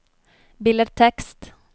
billedtekst